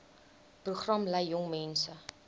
program lei jongmense